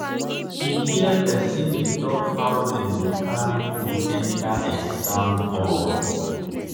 she hear hear person dey talk how dem go carry phone enter exam hall.